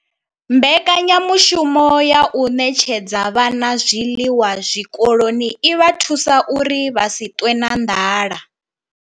Mbekanyamushumo ya u ṋetshedza vhana zwiḽiwa zwikoloni i vha thusa uri vha si ṱwe na nḓala.